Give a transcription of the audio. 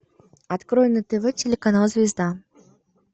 открой на тв телеканал звезда